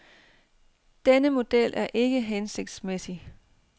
Denne model er ikke hensigtsmæssig.